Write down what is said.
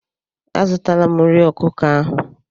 A zụtala m nri ọkụkọ ahụ.